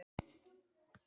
Voru það mikil vonbrigði?